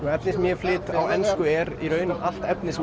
efnið sem ég flyt á ensku er í raun allt efnið sem